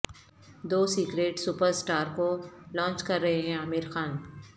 دو secret superstar کو launch کر رہے ہیں عامر خان